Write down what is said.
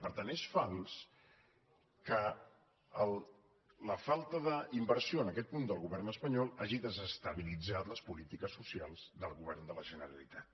per tant és fals que la falta d’inversió en aquest punt del govern espanyol hagi desestabilitzat les polítiques socials del govern de la generalitat